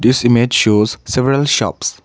this image shows several shops.